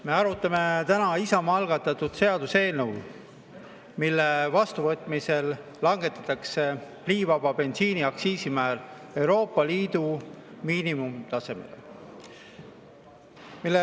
Me arutame täna Isamaa algatatud seaduseelnõu, mille vastuvõtmise korral langetatakse pliivaba bensiini aktsiisimäär Euroopa Liidu miinimumtasemele.